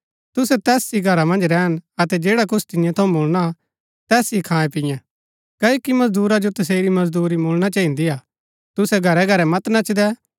तुसै तैस ही घरा मन्ज रैहन अतै जैडा कुछ तियां थऊँ मुळणा तैस ही खायेंपियें क्ओकि मजदूरा जो तसेरी मजदूरी मुळणा चहिन्दीआ तुसै घरैघरै मत नचदै